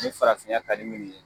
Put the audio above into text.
Nin farafinya ka di minnu ye.